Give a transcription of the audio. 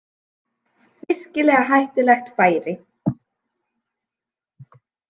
Virkilega hættulegt færi